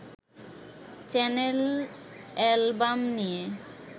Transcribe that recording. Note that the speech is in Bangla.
চ্যানেল-অ্যালবাম নিয়ে